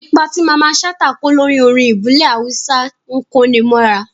Ipa tí Mamman Shata kó lórí orin ìbílẹ̀ Awúsá ń kó'ni mọ́ra